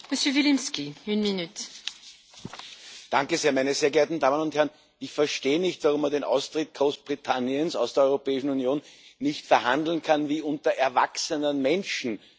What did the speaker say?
Frau Präsidentin, meine sehr geehrten Damen und Herren! Ich verstehe nicht, warum man den Austritt Großbritanniens aus der Europäischen Union nicht verhandeln kann wie unter erwachsenen Menschen.